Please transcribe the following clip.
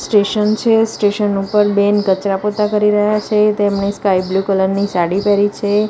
Station છે station ઉપર બેન કચરા પોતા કરી રહ્યા છે તેમને સ્કાય બ્લુ કલર ની સાડી પહેરી છે.